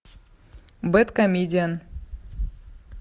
бэдкомедиан